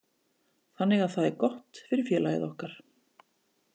Þannig að það er gott fyrir félagið okkar.